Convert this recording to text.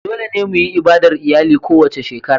Dole ne mu yi ibadar iyali kowace shekara.